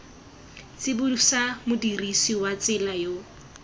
tsibosa modirisi wa tsela yo